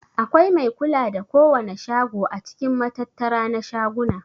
Akwai mai kula da kowana shago a cikin matattara na shaguna.